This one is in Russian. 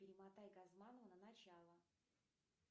перемотай газманова на начало